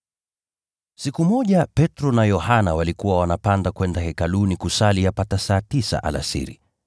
Siku moja Petro na Yohana walikuwa wanapanda kwenda Hekaluni kusali yapata saa tisa alasiri.